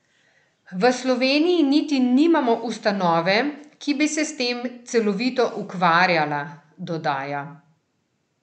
V Sloveniji niti nimamo ustanove, ki bi se s tem celovito ukvarjala, dodaja.